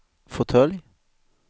fåtölj